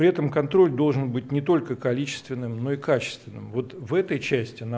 при этом контроль должен быть не только количественным но и качественным вот в этой части на